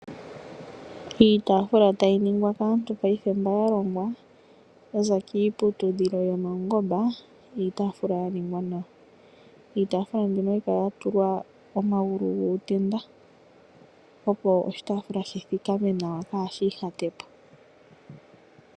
Iitaafula tayi ningwa kaantu paife mba ya longwa, yaza kiiputudhilo yomaungomba Iitafula ya ningwa nawa. Iitaafula mbino ohayi kala ya tulwa omagulu guutenda opo oshitaafula shi thikame nawa kaashi ihatepo.